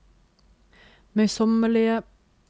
møysommelige